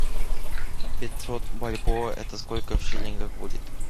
пятьсот бальбоа это сколько в шиллингах будет